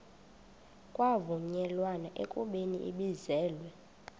kwavunyelwana ekubeni ibizelwe